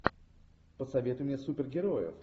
посоветуй мне супергероев